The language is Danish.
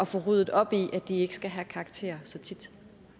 få ryddet op i at de ikke skal have karakterer så tit